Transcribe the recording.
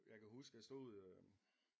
Jeg kan huske jeg stod øh